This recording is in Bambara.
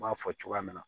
N b'a fɔ cogoya min na